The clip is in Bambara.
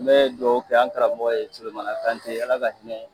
N be dugawu kɛ an karamɔgɔ ye, Solomana Kante ala ka hinɛ